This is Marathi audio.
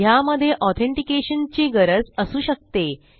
ह्यामधे ऑथेंटिकेशन ची गरज असू शकते